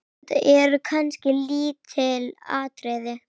Þetta eru kannski lítil atriði.